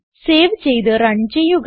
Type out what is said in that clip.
save ചെയ്ത് run ചെയ്യുക